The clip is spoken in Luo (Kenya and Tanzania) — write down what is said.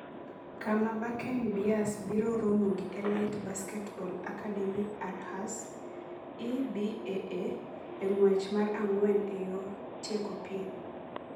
kama Bakken Bears biro romo gi Elite Basketball Akademi Aarhus (EBAA) e ng’wech mar ang'wen e yor tieko piem.